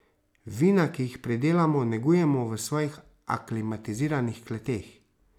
Vina, ki jih pridelamo, negujemo v svojih aklimatiziranih kleteh.